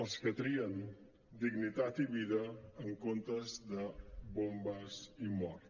els que trien dignitat i vida en comptes de bombes i mort